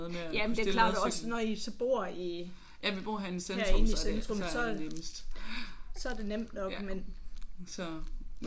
Jamen der er klart også når I så bor i herinde i centrum så er det nemt nok men